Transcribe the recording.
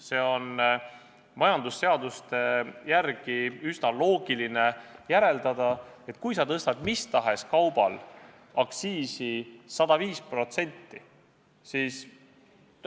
Kui lähtuda majandusseadustest, on üsna loogiline järeldada, et kui sa tõstad mis tahes kaubal aktsiisi 105%, siis ...